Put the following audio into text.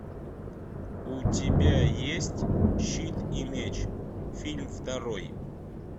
у тебя есть щит и меч фильм второй